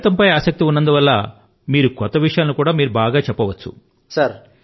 గణితం అంటే మీకు ఆసక్తి ఉన్నందు వల్ల కొత్త విషయాల ను కూడా మీరు చెప్పవచ్చు